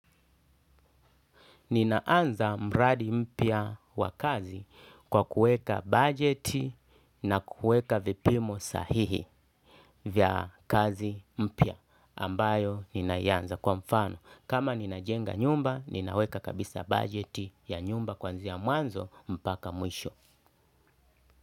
Ninaanza mradi mpya wa kazi kwa kuweka budget na kuweka vipimo sahihi vya kazi mpya ambayo ninaianza kwa mfano. Kama ninajenga nyumba, ninaweka kabisa budget ya nyumba kuanzia mwanzo mpaka mwisho.